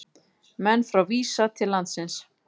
Menn frá Visa til landsins